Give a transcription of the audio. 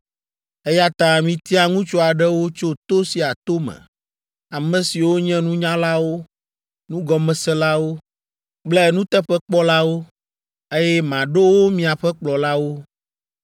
Eya ta mitia ŋutsu aɖewo tso to sia to me, ame siwo nye nunyalawo, nugɔmeselawo kple nuteƒekpɔlawo, eye maɖo wo miaƒe kplɔlawo.”